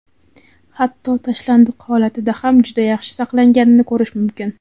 Hatto tashlandiq holatida ham juda yaxshi saqlanganini ko‘rish mumkin.